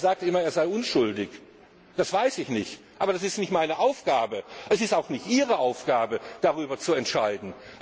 Er sagt immer, er sei unschuldig. Das weiß ich nicht. Aber es ist nicht meine Aufgabe und auch nicht Ihre Aufgabe, darüber zu entscheiden.